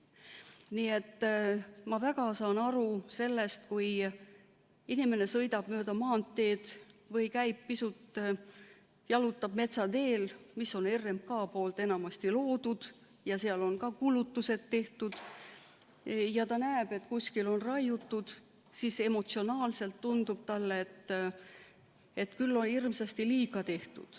Nii et ma väga hästi saan aru sellest, kui inimene sõidab mööda maanteed või pisut jalutab metsateel, mis on enamasti RMK poolt loodud, seal on ka kulutused tehtud, ja kui ta näeb, et kuskil on raiutud, siis emotsionaalselt tundub talle, et küll on hirmsasti liiga tehtud.